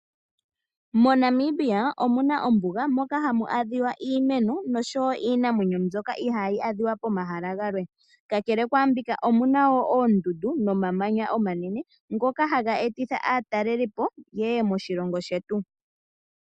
MoNamibia omuna ombuga moka hamu adhiwa iimeno noshowo iinamwenyo mbyoka ihaayi adhiwa pomahala galwe, kakele kwaambika omuna woo oondundu nomamanya omanene ngoka haga etitha aatalelipo yeye moshilongo shetu.